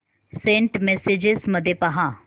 Saint messages मध्ये पहा